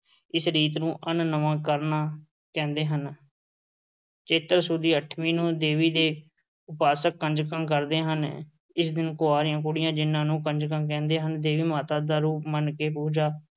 ਇਸ ਰੀਤ ਨੂੰ ਅੰਨ ਨਵਾਂ ਕਰਨਾ ਕਹਿੰਦੇ ਹਨ। ਦੀ ਅੱਠਵੀਂ ਨੂੰ ਦੇਵੀ-ਦੇਵਤੇ ਉਪਾਸਕ ਕੰਜਕਾਂ ਕਰਦੇ ਹਨ। ਇਸ ਦਿਨ ਕੁਆਰੀਆਂ ਕੁੜੀਆਂ ਜਿਨ੍ਹਾਂ ਨੂੰ ਕੰਜਕਾਂ ਕਹਿੰਦੇ ਹਨ, ਦੇਵੀ ਮਾਤਾ ਦਾ ਰੂਪ ਮੰਨ ਕੇ ਪੂਜਾ